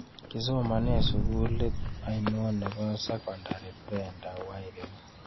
Kisomanen sugulit ainon nebo sekondari Brenda Wairimu